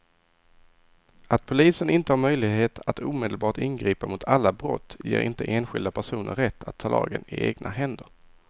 Att polisen inte har möjlighet att omedelbart ingripa mot alla brott ger inte enskilda personer rätt att ta lagen i egna händer.